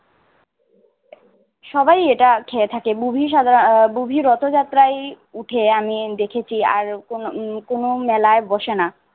সবাই এটা খেয়ে থাকে বুবি সাধারণ~ আহ বুবি রথযাত্রায় উঠে আমি দেখেছি আর কোন উম কোন মেলায় বসে না